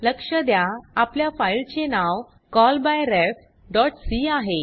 लक्ष द्या आपल्या फाइल चे नाव callbyrefसी आहे